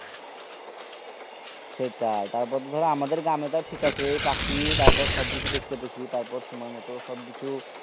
সেটাই তারপরে তো ধরো আমাদের গ্রাম এ তও ঠিক আছে পাখি তারপরে সবকিছু দেখতে পেছি তারপরে সময় মতো সবকিছু